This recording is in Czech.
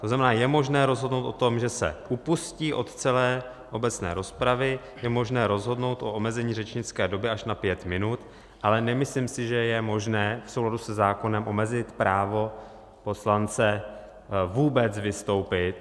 - To znamená, je možné rozhodnout o tom, že se upustí od celé obecné rozpravy, je možné rozhodnout o omezení řečnické doby až na pět minut, ale nemyslím si, že je možné v souladu se zákonem omezit právo poslance vůbec vystoupit.